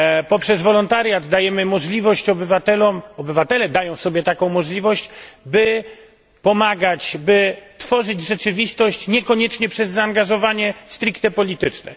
Poprzez wolontariat dajemy możliwość obywatelom obywatele dają sobie taką możliwość by pomagać, by tworzyć rzeczywistość niekoniecznie przez zaangażowanie stricte polityczne.